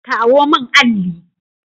Kawo min alli!